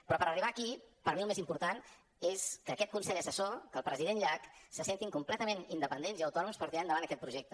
però per arribar a aquí per a mi el més important és que aquest consell assessor que el president llach se sentin completament independents i autònoms per tirar endavant aquest projecte